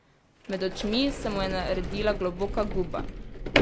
Med očmi se mu je naredila globoka guba.